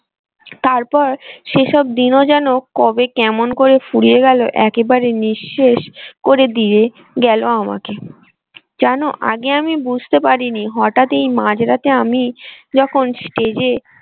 তারপর সেসব দিনও যেন কবে কেমন করে ফুরিয়ে গেল একেবারে নিঃশেষ করে দিয়ে গেল আমাকে যেন আগে আমি বুঝতে পারিনি হঠাৎ এই মাঝরাতে আমি যখন stage এ।